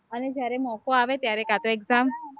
અને જયારે મોકો આવે ત્યારે કાં તો exam